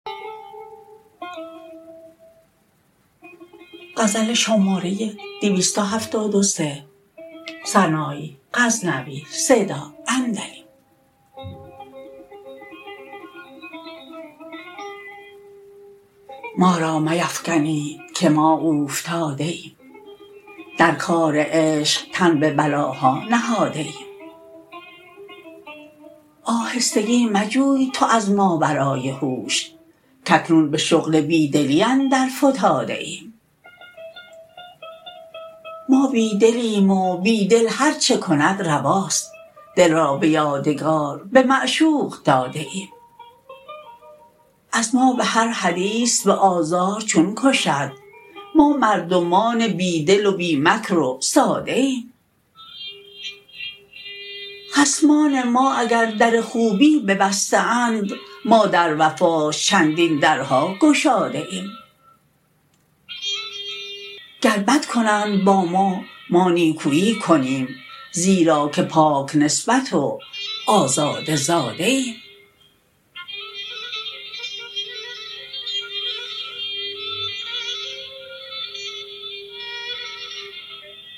ما را میفگنید که ما اوفتاده ایم در کار عشق تن به بلاها نهاده ایم آهستگی مجوی تو از ماورای هوش کاکنون به شغل بی دلی اندر فتاده ایم ما بی دلیم و بی دل هر چه کند رواست دل را به یادگار به معشوق داده ایم از ما بهر حدیث به آزار چون کشد ما مردمان بی دل و بی مکر و ساده ایم خصمان ما اگر در خوبی ببسته اند ما در وفاش چندین درها گشاده ایم گر بد کنند با ما ما نیکویی کنیم زیرا که پاک نسبت و آزاده زاده ایم